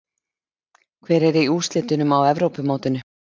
Hver er í úrslitunum á Evrópumótinu?